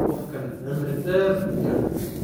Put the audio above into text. Qofkan cimri deer kujiraa.